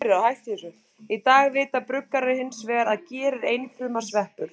Í dag vita bruggarar hins vegar að ger er einfruma sveppur.